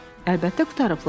Əlbəttə, qurtarıblar.